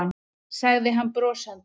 sagði hann brosandi.